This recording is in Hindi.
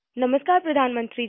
नमस्कार प्रधानमंत्री जी